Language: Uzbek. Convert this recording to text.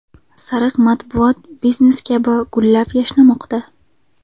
Sariq matbuot biznes kabi gullab-yashnamoqda.